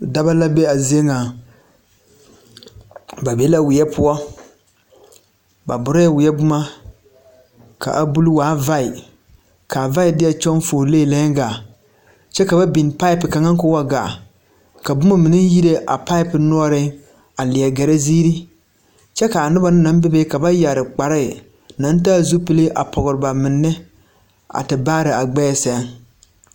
Daba la be a zie ŋaŋ ba be la weɛ poɔ ba borɛɛ weɛ bomma ka a bule waa vaɛɛ kaa vaɛɛ deɛ kyɔŋ fuolee lɛɛŋ gaa kyɛ ka ba biŋ paape kaŋa koo wa gaa ka bomma mine yire a paape noɔreŋ a lie gɛrɛ zeere kyɛ kaa noba na naŋ bebe ba yɛre kparɛɛ naŋ taa zupile a pɔgre ba menne a te baare a gbɛɛ sɛŋ.